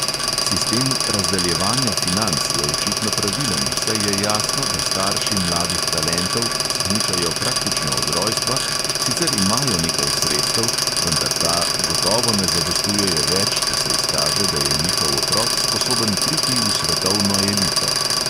Sistem razdeljevanja financ je očitno pravilen, saj je jasno, da starši mladih talentov, ki smučajo praktično od rojstva, sicer imajo nekaj sredstev, vendar ta gotovo ne zadostujejo več, če se izkaže, da je njihov otrok sposoben priti v svetovno elito.